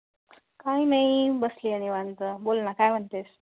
काही नाही बसली आहे निवांत, बोल ना काय म्हणते?